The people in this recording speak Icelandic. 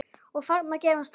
Og þarna gerðist það.